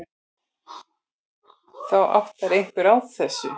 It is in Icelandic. Þá áttar einhver sig á þessu.